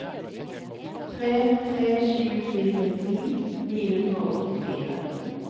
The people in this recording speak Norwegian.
tre tre sju fire ti ni hundre og åttifire